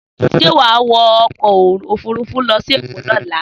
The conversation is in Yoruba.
Sé wà á wọ ọkọ̀ òfurufú lọ sí Èkó ní ọ̀la?